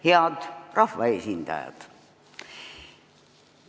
Head rahvaesindajad!